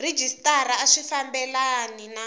rhejisitara a swi fambelani na